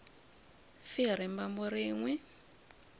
fi hi rimbambu rin we